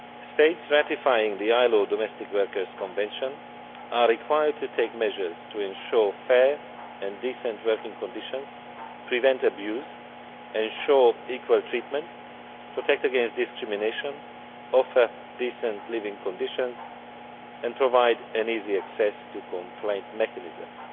States ratifying the ILO Domestic Workers Convention are required to take measures to ensure fair and decent working conditions, prevent abuse, ensure equal treatment, protect against discrimination, offer decent living conditions, and provide easy access to complaint mechanisms.